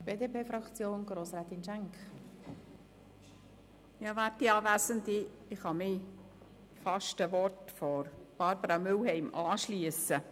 Ich kann mich den Worten von Barbara Mühlheim beinahe anschliessen.